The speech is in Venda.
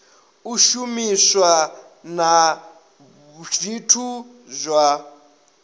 u shumiswa na zwithu zwa